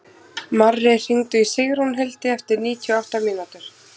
Marri, hringdu í Sigrúnhildi eftir níutíu og átta mínútur.